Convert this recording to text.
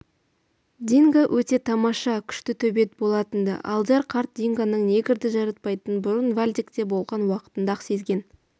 динго өте тамаша күшті төбет болатын-ды алдияр қарт дингоның негрді жаратпайтынын бұрын вальдекте болған уақытында-ақ сезген